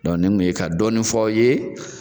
nin kun ye ka dɔɔni f'a ye